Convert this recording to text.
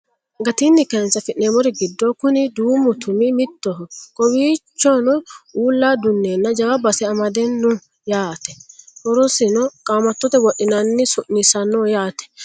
Gattini kaayinise afinemorri giddo kuni duumu tummi mittoho. Kowwichono uula dunnena jawa base amadeno yaate horrosinni qaamatote wodhinenna su'nisanoho yaate